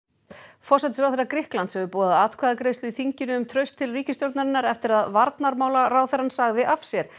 forsætisráðherra Grikklands hefur boðað atkvæðagreiðslu í þinginu um traust til ríkisstjórnarinnar eftir að varnarmálaráðherrann sagði af sér